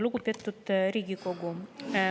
Lugupeetud Riigikogu!